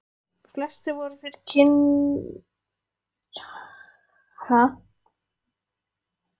Flestir voru þeir kynlegir kvistir með sérstæð hugðarefni.